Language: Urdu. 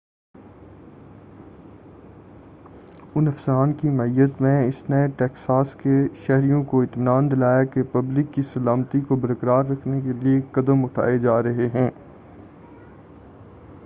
اُن افسران کی معیّت میں اس نے ٹیکساس کے شہریوں کو اطمینان دلایا کہ پبلک کی سلامتی کو برقرار رکھنے کے لئے قدم اٹھائے جا رہے ہیں